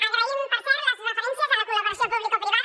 agraïm per cert les referències a la col·laboració publicoprivada